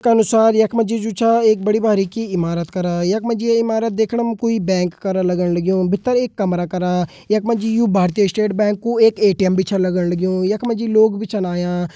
का अनुसार एक मजीजु छे एक बडी बारीकी इमारत करा एक मजी ये इमारत देखने में कोई बैंक करन लगन लग्यो भीतर एक कमरा करा एक मजी यू भारतीय स्टेट बैंक को एक कोई ए_टी_एम बिछन लगन लग्यो एक मजी कुछ लोग भी चनाया।